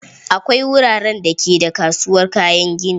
Akwai wuraren da ke da kasuwar kayan gini.